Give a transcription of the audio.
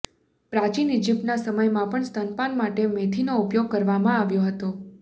પ્રાચીન ઇજિપ્તના સમયમાં પણ સ્તનપાન માટે મેથીનો ઉપયોગ કરવામાં આવ્યો હતો